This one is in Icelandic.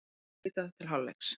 Flautað til hálfleiks